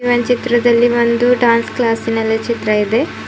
ಈ ಒಂದು ಚಿತ್ರದಲ್ಲಿ ಬಂದು ಡ್ಯಾನ್ಸ್ ಕ್ಲಾಸ್ ನಲ್ಲಿ ಚಿತ್ರ ಇದೆ.